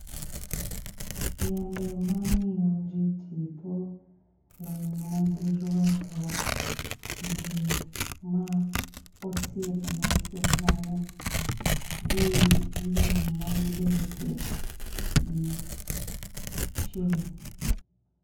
Yiende mamiyo jii tipo, lewni ma girwako, jii ma osiepe mantie kanyo gi lowo ma gibetie gi chieng'